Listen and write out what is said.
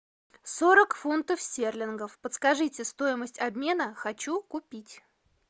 сорок фунтов стерлингов подскажите стоимость обмена хочу купить